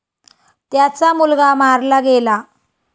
त्याचा मुलगा मारला गेला.